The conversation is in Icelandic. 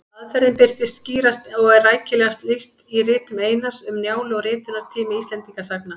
Aðferðin birtist skýrast og er rækilegast lýst í ritum Einars, Um Njálu og Ritunartími Íslendingasagna.